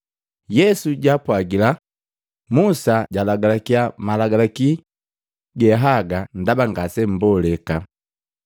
Yesu jaapwagila, “Musa jalagalakya malagalaki ge haga ndaba ngasemmboleka.